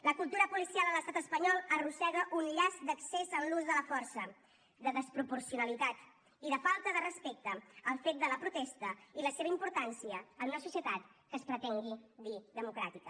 la cultura policial a l’estat espanyol arrossega un llast d’excés en l’ús de la força de desproporcionalitat i de falta de respecte al fet de la protesta i la seva importància en una societat que es pretengui dir democràtica